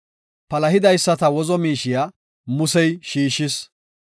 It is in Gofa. Palahidaysata wozo miishiya Musey shiishis.